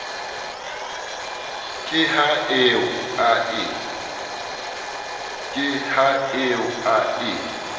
ke ha eo a e